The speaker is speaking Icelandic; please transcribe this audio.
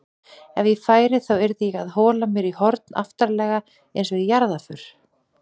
Ef ég færi þá yrði ég að hola mér í horn aftarlega einsog í jarðarför